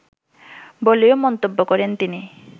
বলেও মন্তব্য করেন তিনি